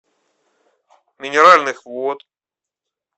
минеральных вод